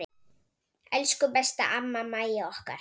Elsku besta amma Mæja okkar.